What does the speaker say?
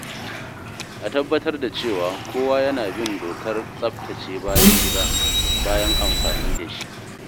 A tabbatar da cewa kowa yana bin dokar tsaftace bayan gida bayan amfani da shi.